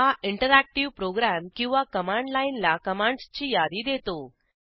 हा interactive program किंवा command लाईनला कमांडसची यादी देतो